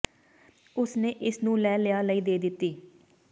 ਉਸ ਨੇ ਇਸ ਨੂੰ ਲੈ ਲਿਆ ਲਈ ਦੇ ਦਿੱਤੀ